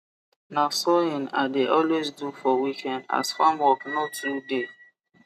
na sawing i de always do for weekend as farm work no too dey